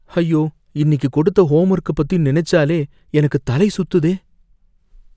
ஐயோ! இன்னிக்கு கொடுத்த ஹோம்வொர்க்க பத்தி நினைச்சாலே எனக்கு தலை சுத்துதே!